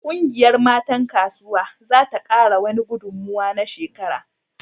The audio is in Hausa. Kungiyar matan kasuwa za ta kara wani gudummuwa na shekara